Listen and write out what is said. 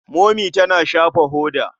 Momi tana shafa hoda.